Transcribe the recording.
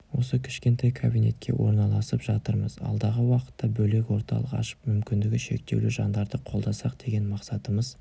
осы кішкентай кабинетке орналасып жатырмыз алдағы уақытта бөлек орталық ашып мүмкіндігі шектеулі жандарды қолдасақ деген мақсатымыз